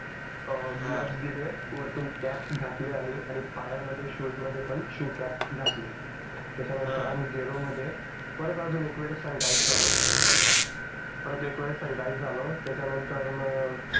अं gloves दिले वरतून cap घातली आणि पायामध्ये शूजमध्ये पण आम्ही शूजकॅप घातली त्याच्यानंतर आम्ही गेलो मध्ये परत अजून एकवेळेस सांनीटईसर झालो. परत एकवेळेस सांनीटईसर झालो त्याच्यानंतरनं